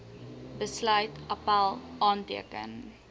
besluit appèl aanteken